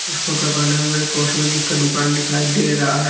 इस फोटो के अंदर हमें कॉस्मेटिक का दुकान दिखाई दे रहा है।